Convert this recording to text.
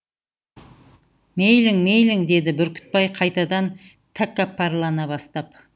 мейлің мейлің деді бүркітбай қайтадан тәкаппарлана бастап